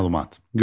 Məlumat: